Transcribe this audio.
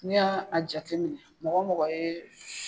N'i y'a jateminɛ mɔgɔ mɔgɔ ye